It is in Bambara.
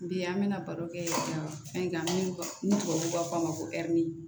Bi an bɛna baro kɛ fɛnkan ni tubabu b'a fɔ ma ko ɛri